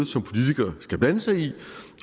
som politikere skal blande sig i